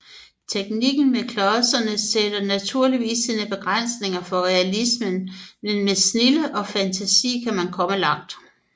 Teknikken med klodserne sætter naturligvis sine begrænsninger for realismen men med snilde og fantasi kan man komme langt